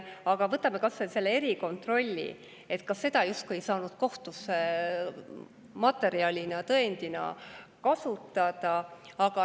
Aga võtame kas või selle erikontrolli: seda justkui ei saanud kohtus tõendusmaterjalina kasutada.